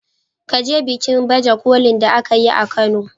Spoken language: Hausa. Ka je bikin baje kolin da aka yi a kano.